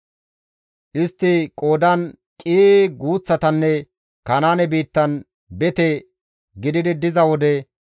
Istti qoodan qii guuththatanne Kanaane biittan bete gididi diza wode,